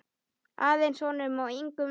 Aðeins honum og engum öðrum.